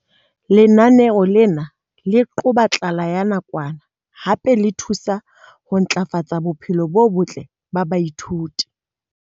Lenaneo lena le qoba tlala ya nakwana hape le thusa ho ntlafatsa bophelo bo botle ba baithuti.